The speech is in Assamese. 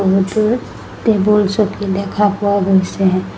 বহুতো টেবুল চকী দেখা পোৱা গৈছে।